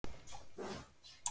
Já, en hann er veikur